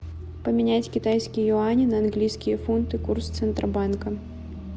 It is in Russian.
поменять китайские юани на английские фунты курс центробанка